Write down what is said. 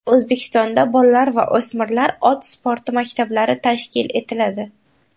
O‘zbekistonda bolalar va o‘smirlar ot sporti maktablari tashkil etiladi.